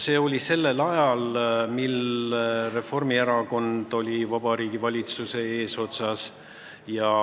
See oli sellel ajal, mil Reformierakond oli Vabariigi Valitsuse eesotsas.